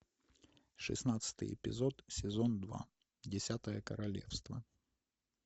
шестнадцатый эпизод сезон два десятое королевство